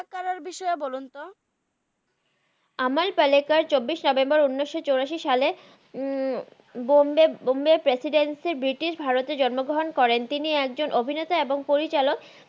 আমাল পালাকার এর বিষয়ে বলুন তো আমাল পালাকার উনিস চুরাসি সালে বম্বায় প্রেচিদেঞ্চ্য ব্রিতিস ভারতে জন্ম গ্রাহান করেন তিনি একজন অভিনেতআ এবং পরিছালাক